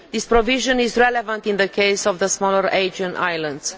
This provision is relevant in the case of the smaller Aegean islands.